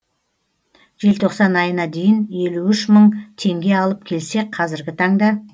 желтоқсан айына дейін елу үш мың теңге алып келсек қазіргі таңда